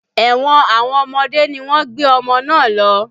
Ẹ̀wọ̀n àwọn ọmọdé ni wọ́n gbé ọmọ náà lọ